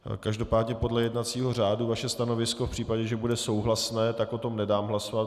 Každopádně podle jednacího řádu vaše stanovisko v případě, že bude souhlasné, tak o tom nedám hlasovat.